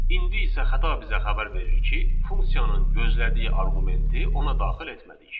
İndi isə xəta bizə xəbər verir ki, funksiyanın gözlədiyi arqumenti ona daxil etmədik.